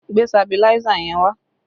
Gbe sabiláísà yẹn wá!